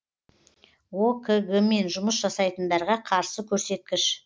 окг мен жұмыс жасайтындарға қарсы көрсеткіш